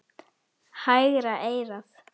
Hægra eyrað.